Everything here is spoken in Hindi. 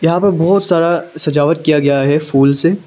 यहां पर बहुत सारा सजावट किया गया है फूल से।